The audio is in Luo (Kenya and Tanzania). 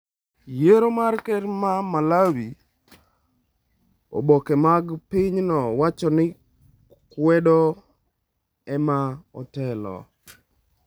Yiero mar ker ma Malawi: Oboke mag pinyno wacho ni kwedo ema otelo